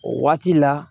O waati la